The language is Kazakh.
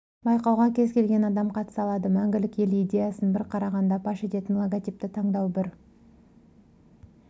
байқауға кез келген адам қатыса алады мәңгілік ел идеясын бір қарағанда паш ететін логотипті таңдау бір